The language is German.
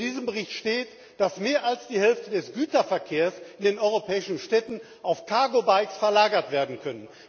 In diesem Bericht steht, dass mehr als die Hälfte des Güterverkehrs in den europäischen Städten auf Cargo Bikes verlagert werden kann.